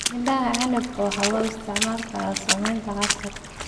Midhaha canabka waxaa loo isticmaali karaa sameynta casiir.